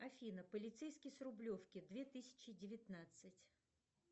афина полицейский с рублевки две тысячи девятнадцать